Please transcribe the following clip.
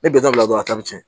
Ne bɛ dɔ bila dɔrɔn a ta bɛ tiɲɛ